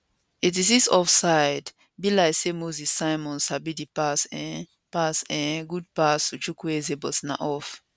86 offsidebe like say moses simon sabi dis pass eehh pass eehh good pass to chukwueze but na off